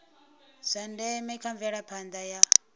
zwa ndeme kha mvelaphanda ya